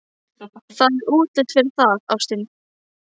Það er útlit fyrir það, ástin.